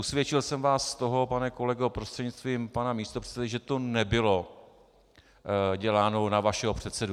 Usvědčil jsem vás z toho, pane kolego prostřednictvím pana místopředsedy, že to nebylo děláno na vašeho předsedu.